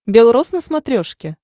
белрос на смотрешке